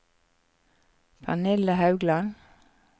Pernille Haugland